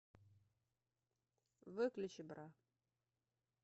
выключи бра